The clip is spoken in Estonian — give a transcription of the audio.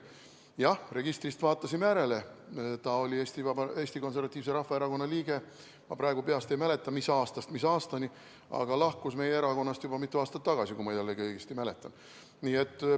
Jah, registrist vaatasime järele, ta oli Eesti Konservatiivse Rahvaerakonna liige, ma praegu peast ei mäleta, mis aastast mis aastani, aga ta lahkus meie erakonnast juba mitu aastat tagasi, kui ma jällegi õigesti mäletan.